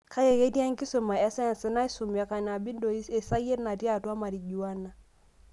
kake, ketii enkisuma escience naisumi e cannabinoids, esayiet natii atua marijuana.